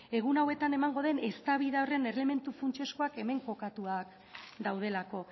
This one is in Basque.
egun hauetan emango den eztabaida horren elementu funtsezkoak hemen kokatuak daudelako